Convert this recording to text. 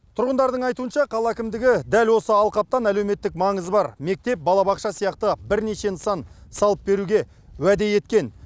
тұрғындардың айтуынша қала әкімдігі дәл осы алқаптан әлеуметтік маңызы бар мектеп балабақша сияқты бірнеше нысан салып беруге уәде еткен